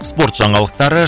спорт жаңалықтары